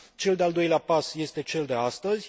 Cel de al doilea pas este cel de astăzi.